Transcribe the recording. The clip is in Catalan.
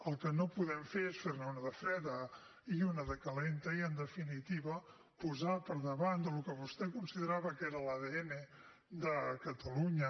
el que no podem fer és fer ne una de freda i una de calenta i en definitiva posar per davant del que vostè considerava que era l’adn de catalunya